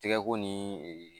Tɛko ni